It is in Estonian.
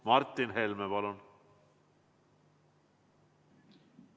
Martin Helme, palun!